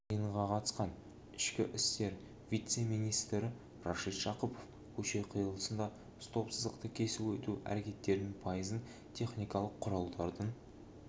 жиынға қатысқан ішкі істер вице-министрі рашид жақыпов көше қиылысында стоп-сызықты кесіп өту әрекеттерінің пайызын техникалық құралдардың